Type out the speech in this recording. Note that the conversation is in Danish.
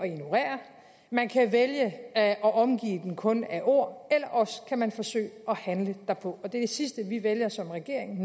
ignorere man kan vælge at omgive kun af ord eller også kan man forsøge at handle derpå og det er det sidste vi vælger som regering